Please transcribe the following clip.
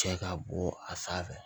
Cɛ ka bɔ a sanfɛ